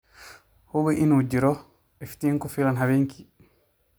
Hubi in uu jiro iftiin ku filan habeenkii.